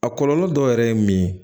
A kɔlɔlɔ dɔ yɛrɛ ye min ye